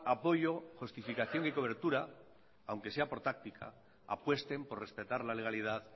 apoyo justificación y cobertura aunque sea por táctica apuesten por respetar la legalidad